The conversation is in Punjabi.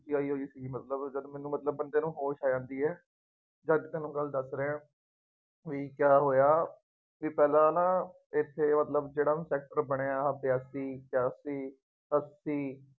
ਚ ਸੀ ਮਤਲਬ ਜਦ ਮੈਨੂੰ ਮਤਲਬ ਬੰਦੇ ਨੂੰ ਹੋਸ਼ ਆ ਜਾਂਦੀ ਹੈ ਜਦ ਦੀ ਤੁਹਾਨੂੰ ਗੱਲ ਦੱਸ ਰਿਹਾਂ, ਬਈ ਕਿਆ ਹੋਇਆ, ਬਈ ਪਹਿਲਾ ਨਾ, ਇੱਥੇ ਮਤਲਬ ਜਿਹੜਾ ਹੁਣ ਸੈਕਟਰ ਬਣਿਆ ਆਹ ਛਿਆਸੀ, ਅੱਸੀ,